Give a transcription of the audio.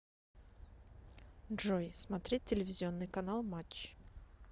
джой смотреть телевизионный канал матч